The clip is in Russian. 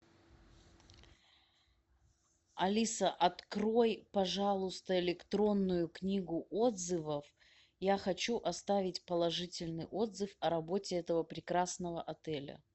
алиса открой пожалуйста электронную книгу отзывов я хочу оставить положительный отзыв о работе этого прекрасного отеля